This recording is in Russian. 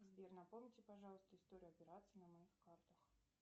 сбер напомните пожалуйста историю операций на моих картах